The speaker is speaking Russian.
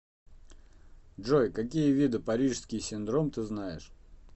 джой какие виды парижский синдром ты знаешь